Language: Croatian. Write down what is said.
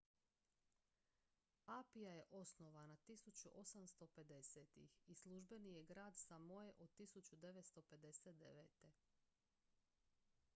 apia je osnovana 1850-ih i službeni je glavni grad samoe od 1959